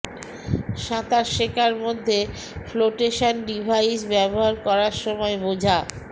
সাঁতার শেখার মধ্যে ফ্লোটেশন ডিভাইস ব্যবহার করার সময় বোঝা